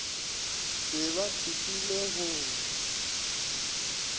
be ba thopilwe go na